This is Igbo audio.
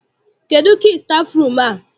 Kedụ kii stafụrum a?